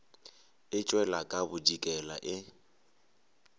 e tšwela ka bodikela e